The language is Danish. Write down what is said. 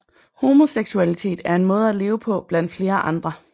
Homoseksualitet er en måde at leve på blandt flere andre